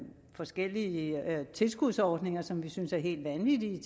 forskellige tilskudsordninger som vi synes er helt vanvittige